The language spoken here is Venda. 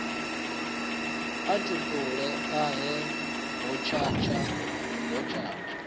a tupule ahe hotshatsha hotshatsha